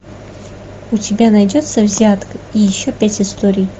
у тебя найдется взятка и еще пять историй